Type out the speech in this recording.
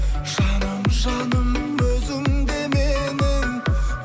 жаным жаным өзіңде менің